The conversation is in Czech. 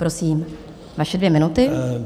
Prosím, vaše dvě minuty.